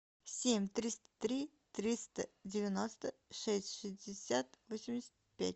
семь триста три триста девяносто шесть шестьдесят восемьдесят пять